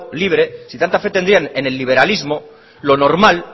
libre si tanta fe tendrían en el liberalismo lo normal